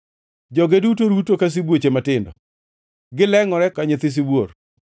Joge duto ruto ka sibuoche matindo, gilengʼore ka nyithi sibuor.